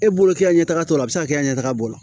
E bolo k'i ka ɲɛtaga sɔrɔ a bɛ se ka kɛ i ka ɲɛtaga bolo